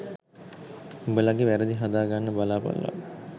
උඹලගෙ වැරදි හදා ගන්න බලාපල්ලා